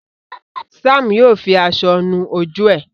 Sam yíò fí aṣọ nù ojú e.